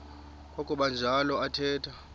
kwakuba njalo athetha